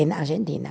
Em Argentina.